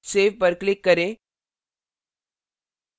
save पर click करें